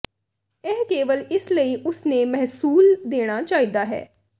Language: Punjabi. ਇਹ ਕੇਵਲ ਇਸ ਲਈ ਉਸ ਨੇ ਮਹਿਸੂਲ ਦੇਣਾ ਚਾਹੀਦਾ ਹੈ